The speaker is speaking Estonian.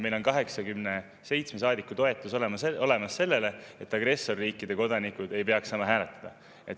Meil on 87 saadiku toetus olemas sellele, et agressorriikide kodanikud ei peaks saama hääletada.